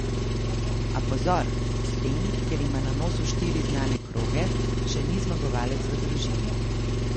A pozor, s tem, ker ima na nosu štiri znane kroge, še ni zmagovalec v družini.